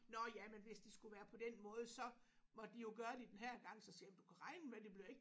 Nåh ja men hvis det skulle være på den måde så måtte de jo gøre det den her gang så siger jeg men du kan regne med det bliver ikke